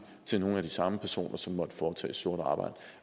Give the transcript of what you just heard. til nogle af de samme personer som måtte foretage sort arbejde